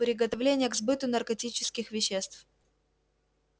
приготовление к сбыту наркотических веществ